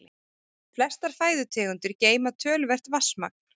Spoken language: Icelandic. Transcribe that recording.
Flestar fæðutegundir geyma töluvert vatnsmagn.